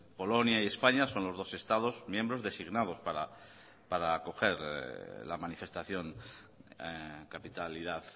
polonia y españa son los dos estados miembros designados para acoger la manifestación capitalidad